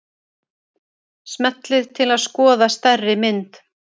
Smellið til að skoða stærri mynd.